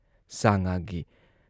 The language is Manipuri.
ꯁꯥ ꯉꯥꯒꯤ